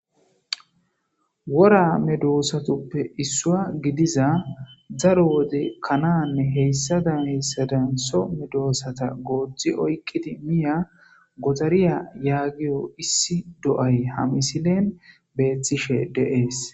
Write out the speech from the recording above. Wora medoosatoppe issua gidiza zaro wode kananne heyssada heyssadan so medoosata gooji oyqqiti miya godariya yaagiyo issi do'ay hamisilen beeththishe deees